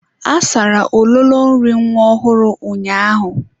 A sara ololo nri nwa ọhụrụ ụnyaahụ.